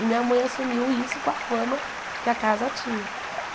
E minha mãe assumiu isso com a fama que a casa tinha.